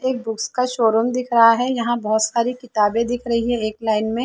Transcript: एक बुक्स का शोरूम दिख रहा है यहाँ बहुत सारी किताबें दिख़ रही है एक लाइन में --